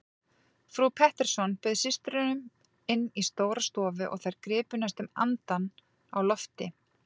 Frú Pettersson bauð systrunum inn í stóra stofu og þær gripu næstum andann á lofti.